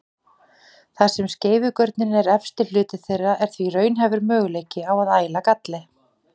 Þar sem skeifugörnin er efsti hluti þeirra er því raunhæfur möguleiki á að æla galli.